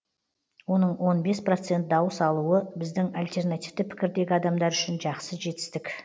оның он бес процент дауыс алуы біздің альтернативті пікірдегі адамдар үшін жақсы жетістік